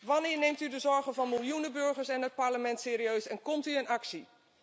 Wanneer neemt u de zorgen van miljoenen burgers en het Parlement serieus en komt u in actie?